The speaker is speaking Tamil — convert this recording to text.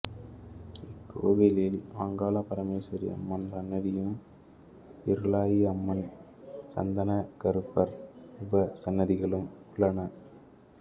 இக்கோயிலில் அங்காள பரமேஸ்வரி அம்மன் சன்னதியும் இருளாயிஅம்மன் சந்தனக்கருப்பர் உபசன்னதிகளும் உள்ளன